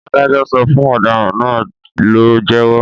Adájọ́ sọ fún ọ̀daràn náà ló jẹ́wọ́.